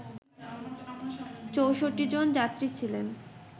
৬৪ জন যাত্রী ছিলেন